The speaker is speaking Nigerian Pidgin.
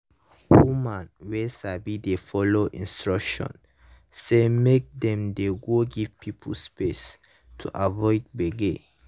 woman wey sabi dey follow instruction say make dem dey go give pipo space to avoid gbege.